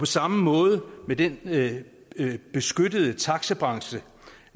samme måde er det med den beskyttede taxabranche